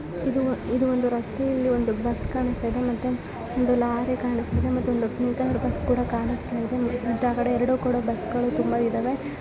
ಇದು ಒಂದು ರಸ್ತೆಯಲ್ಲಿ ಒಂದು ಬಸ್ ಕಾಣಿಸ್ತಿದೆ ಮತ್ತೆ ಒಂದು ಲಾರಿ ಕಾಣಿಸ್ತಿದೆ ಮತ್ತೆ ಇನ್ನೊಂದು ಬಸ್ ಕೂಡ ಕಾಣಿಸುತ್ತಿದೆ ಎರಡು ಕಡೆ ಬಸ್ ಗಳು ತುಂಬಾ ಇದಾವೆ.